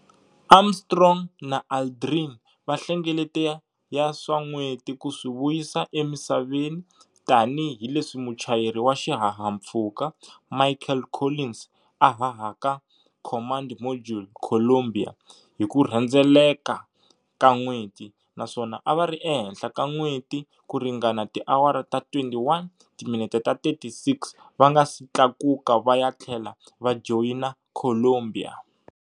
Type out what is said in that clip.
Armstrong na Aldrin va hlengelete ya swilo swa n'weti ku swi vuyisa eMisaveni tanihi leswi muchayeri wa xihahampfhuka Michael Collins a hahaka Command Module"Columbia" hi ku rhendzeleka ka n'weti, naswona a va ri ehenhla ka N'weti ku ringana tiawara ta 21, timinete ta 36, va nga si tlakuka va ya tlhela va joyina"Columbia".